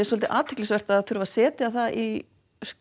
svolítið athyglisvert að þurfa að setja það í